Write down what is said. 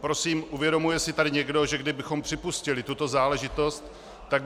Prosím, uvědomuje si tady někdo, že kdybychom připustili tuto záležitost, tak by zpětně -